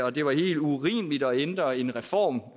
at det var helt urimeligt at ændre en reform